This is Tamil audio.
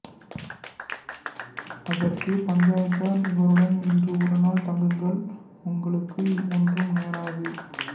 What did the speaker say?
அதற்கு பஞ்சாயத்தார் இவளுடன் இன்று ஒருநாள் தங்குங்கள் உங்களுக்கு ஒன்றும் நேராது